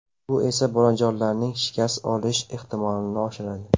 Bu esa bolajonlarning shikast olish ehtimolini oshiradi.